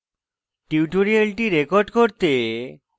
tutorial record করতে